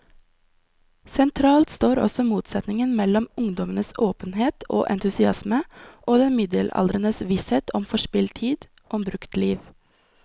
Sentralt står også motsetningen mellom ungdommens åpenhet og entusiasme og den middelaldrendes visshet om forspilt tid, om brukt liv.